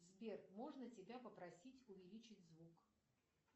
сбер можно тебя попросить увеличить звук